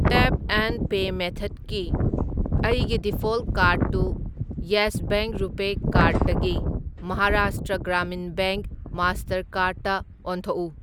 Tap and pay ꯃꯦꯊ꯭ꯗꯀꯤ ꯑꯩꯒꯤ default ꯀꯥꯔ꯭ꯗꯇꯨ ꯌꯦꯁ ꯕꯦꯡꯛ ꯔꯨꯄꯦ ꯀꯥꯔꯗ ꯗꯒꯤ ꯃꯍꯥꯔꯥꯁꯇ꯭ꯔ ꯒ꯭ꯔꯥꯃꯤꯟ ꯕꯦꯡꯛ ꯃꯥꯁꯇꯔꯀꯥꯔ꯭ꯗꯇ ꯑꯣꯟꯊꯣꯛꯎ꯫